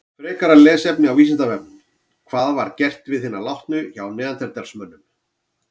Frekara lesefni á Vísindavefnum: Hvað var gert við hina látnu hjá neanderdalsmönnum?